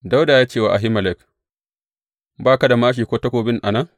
Dawuda ya ce wa Ahimelek, Ba ka da māshi ko takobi a nan?